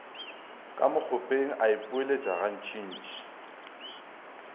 ka mokgopeng a ipoeletša gantšintši